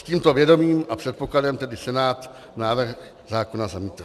S tímto vědomím a předpokladem tedy Senát návrh zákona zamítl.